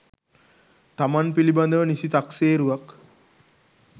තමන් පිළිබඳව නිසි තක්සේරුවක්